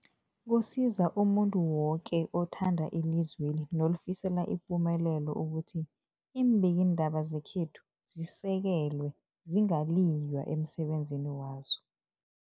Kusiza umuntu woke othanda ilizweli nolifisela ipumelelo ukuthi iimbikiindaba zekhethu zisekelwe, zingaliywa emsebenzini wazo.